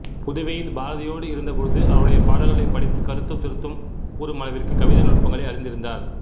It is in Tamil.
புதுவையில் பாரதியோடு இருந்த பொழுது அவருடைய பாடல்களைப் படித்து கருத்தும் திருத்தம் கூறும் அளவிற்குக் கவிதை நுட்பங்களை அறிந்திருந்தார்